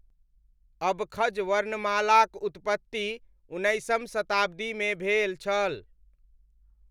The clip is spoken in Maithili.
अबखज़ वर्णमालाक उत्पत्ति उन्नैसम शताब्दीमे भेल छल।